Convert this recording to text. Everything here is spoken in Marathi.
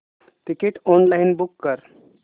तिकीट ऑनलाइन बुक कर